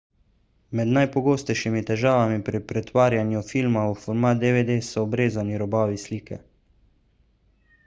med najpogostejšimi težavami pri pretvarjanju filma v format dvd so obrezani robovi slike